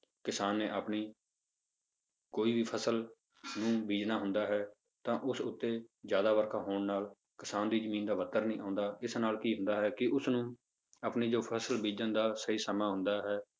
ਕਿਸਾਨ ਨੇ ਆਪਣੀ ਕੋਈ ਵੀ ਫਸਲ ਨੂੰ ਬੀਜ਼ਣਾ ਹੁੰਦਾ ਹੈ ਤਾਂ ਉਸ ਉੱਤੇ ਜ਼ਿਆਦਾ ਵਰਖਾ ਹੋਣ ਨਾਲ ਕਿਸਾਨ ਦੀ ਜ਼ਮੀਨ ਦਾ worker ਨਹੀਂ ਆਉਂਦਾ, ਇਸ ਨਾਲ ਕੀ ਹੁੰਦਾ ਹੈ ਕਿ ਉਸਨੂੰ ਆਪਣੀ ਜੋ ਫਸਲ ਬੀਜਣ ਦਾ ਸਹੀ ਸਮਾਂ ਆਉਂਦਾ ਹੈ